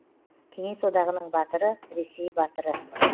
кеңес одағының батыры ресей батыры